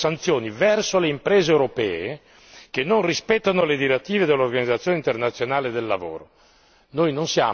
Basta promuovere sanzioni verso le imprese europee che non rispettano le direttive dell'Organizzazione internazionale del lavoro.